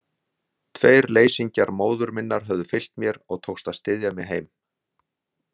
Tveir leysingjar móður minnar höfðu fylgt mér og tókst að styðja mig heim.